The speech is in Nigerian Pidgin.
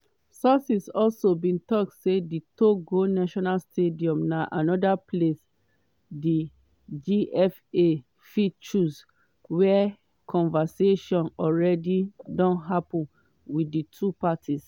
sources also bin tok say di togo national stadium na anoda place di gfa fit choose; wia conversation already dey happun wit di two parties.